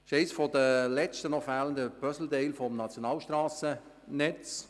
Das ist eines der letzten noch fehlenden Puzzleteile im Nationalstrassennetz.